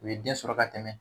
U ye den sɔrɔ ka tɛmɛ